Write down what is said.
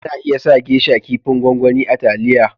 Ana iya sa " geisha " Kipin gwangwani a taliya